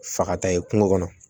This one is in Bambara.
Fa ka taa ye kungo kɔnɔ